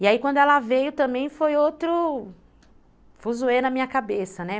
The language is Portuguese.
E aí, quando ela veio também foi outro fuzuê na minha cabeça, né.